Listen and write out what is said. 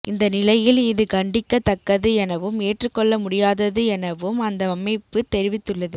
இந்தநிலையில் இது கண்டிக்க தக்கது எனவும் ஏற்றுக் கொள்ள முடியாதது எனவும் அந்த அமைப்பு தெரிவித்துள்ளது